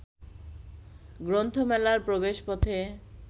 গ্রন্থমেলার প্রবেশপথে